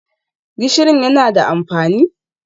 Gishirin yana da amfani?